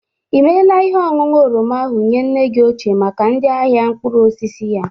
I mela ihe oñụñu oroma ahụ nye nne gi ochie maka ndị ahịa mkpụrụosisi ya?